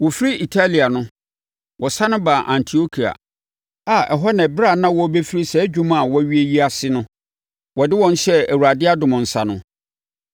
Wɔfiri Atalia no, wɔsane baa Antiokia a ɛhɔ na ɛberɛ a na wɔrebɛfiri saa adwuma a wɔawie yi ase no, wɔde wɔn hyɛɛ Awurade adom nsa no.